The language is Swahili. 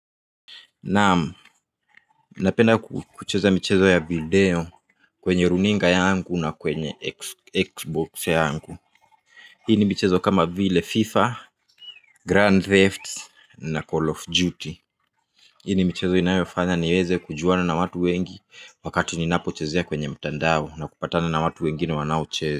Naam, napenda kucheza michezo ya video kwenye runinga yangu na kwenye Xbox yangu. Hii ni mchezo kama vile FIFA, Grand Thefts na Call of Duty. Hii ni michezo inayofanya niweze kujuana na watu wengi wakati ninapo chezea kwenye mtandao na kupatana na watu wengine wanaochezea.